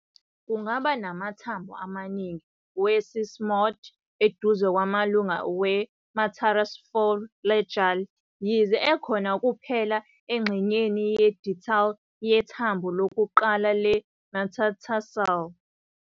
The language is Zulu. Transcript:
Kungaba namathambo amaningi we-sesamoid eduze kwamalunga we-metatarsophalangeal, yize ekhona kuphela engxenyeni ye-distal yethambo lokuqala le-metatarsal.